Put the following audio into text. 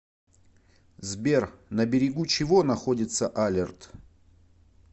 сбер на берегу чего находится алерт